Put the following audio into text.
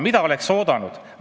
Mida oleks oodanud?